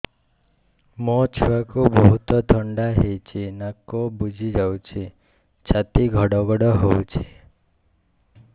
ମୋ ଛୁଆକୁ ବହୁତ ଥଣ୍ଡା ହେଇଚି ନାକ ବୁଜି ଯାଉଛି ଛାତି ଘଡ ଘଡ ହଉଚି